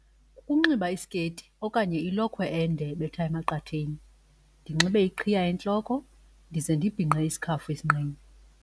Ukunxiba isikeyiti okanye ilokhwe ende ebetha emaqatheni, ndinxibe iqhiya entloko ndize ndibhinqe isikhafu esinqeni.